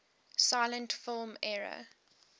silent film era